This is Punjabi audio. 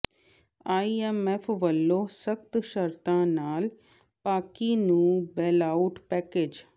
ਆਈਐੱਮਐੱਫ ਵੱਲੋਂ ਸਖ਼ਤ ਸ਼ਰਤਾਂ ਨਾਲ ਪਾਕਿ ਨੂੰ ਬੇਲਆਊਟ ਪੈਕੇਜ